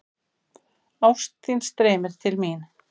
Ást þín streymir til mín.